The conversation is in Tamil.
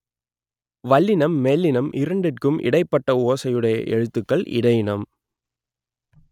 வல்லினம் மெல்லினம் இரண்டிற்கும் இடைப்பட்ட ஓசையுடைய எழுத்துக்கள் இடையினம்